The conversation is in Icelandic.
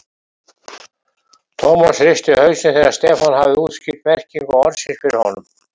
Thomas hristi hausinn þegar Stefán hafði útskýrt merkingu orðsins fyrir honum.